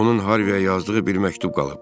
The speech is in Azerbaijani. Onun Harvəyə yazdığı bir məktub qalıb.